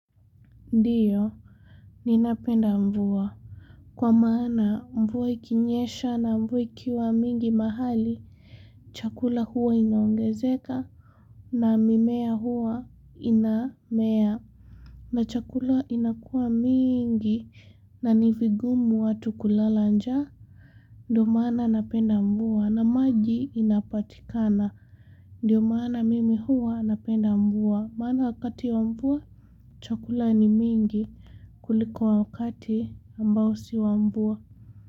Ndiyo ninapenda mvua kwa maana mvua ikinyesha na mvua ikiwa mingi mahali chakula huwa inaongezeka na mimea huwa inamea na chakula inakuwa mingi nanivigumu watu kulala njaa ndio maana napenda mvua na maji inapatikana ndio maana mimi huwa napenda mvua maana wakati wa mvua chakula ni mingi kuliko wakati ambao si wa mvua.